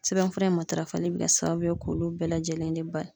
Sɛbɛnfura in matarafali be kɛ sababu ye k'olu bɛɛ lajɛlen de bali